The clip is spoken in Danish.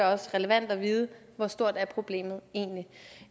også relevant at vide hvor stort problemet egentlig